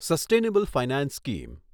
sustainable finance scheme